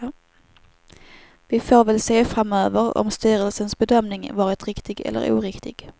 Vi får väl se framöver om styrelsens bedömning varit riktig eller oriktig.